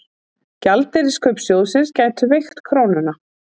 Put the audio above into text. Gjaldeyriskaup sjóðsins gætu veikt krónuna